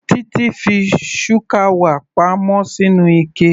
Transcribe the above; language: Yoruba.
Titi fi shukawa pa mọ́ sínú ike.